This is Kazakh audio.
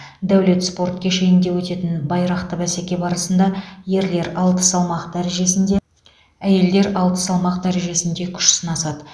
даулет спорт кешенінде өтетін байрақты бәсеке барысында ерлер алты салмақ дәрежесінже әйелдер алты салмақ дәрежесінде күш сынасады